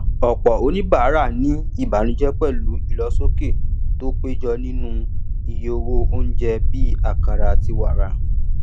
ọpọ oníbàárà ní ìbànújẹ pẹlú ìlósókè tó péjọ nínú iye owó oúnjẹ bí akara àti wara